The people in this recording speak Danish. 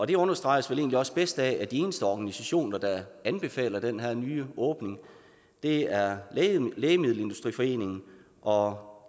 det understreges vel egentlig også bedst af at de eneste organisationer der anbefaler den her nye åbning er lægemiddelindustriforeningen og